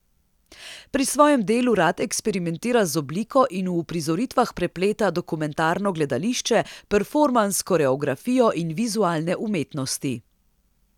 Pri svojem delu rad eksperimentira z obliko in v uprizoritvah prepleta dokumentarno gledališče, performans, koreografijo in vizualne umetnosti.